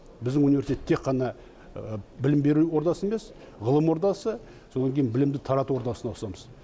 біздің университет тек қана білім беру ордасы емес ғылым ордасы содан кейін білімді тарату ордасына ауысамыз